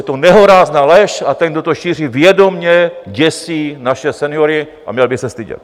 Je to nehorázná lež a ten, kdo to šíří, vědomě děsí naše seniory a měl by se stydět.